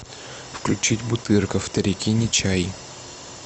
включить бутырка вторяки не чай